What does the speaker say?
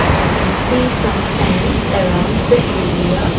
we can see some fans around the area.